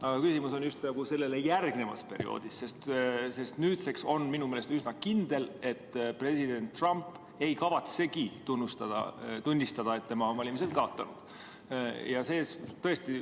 Aga küsimus on sellele järgnevas perioodis, sest nüüdseks on minu meelest üsna kindel, et president Trump ei kavatsegi tunnistada, et tema on valimised kaotanud.